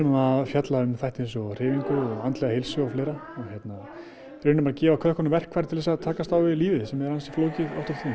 að fjalla um þætti eins og hreyfingu andlega heilsu og fleira reynum að gefa krökkunum verkfæri til þess að takast á við lífið sem er ansi flókið oft og